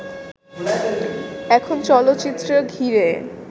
এখন চলচ্চিত্রে ঘিরে